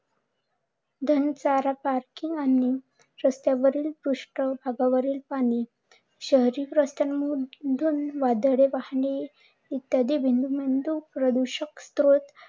घणा चारा, पार्किंग आणि रस्त्यावरील पृष्ठ भागावरील पाणी, शहरी रस्त्यांवर वाढलेले वाहने इत्यादी प्रदुषक स्त्रोत